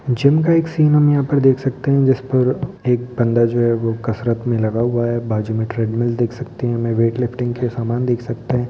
Gym का एक scene हम यहाँ पर देख सकते हैं जिस पर एक बंदा जो हैं वो कसरत में लगा हुआ हैं बाजू में थ्रेडमिल देख सकते हैं मेवेटलेफ्टिंग के सामान देख सकते हैं।